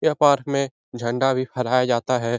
यह पार्क में झंडा भी फहराया जाता है।